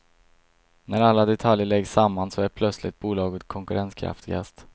När alla detaljer läggs samman så är plötsligt bolaget konkurrenskraftigast.